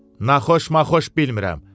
"Naxxoş-maxxuş bilmirəm.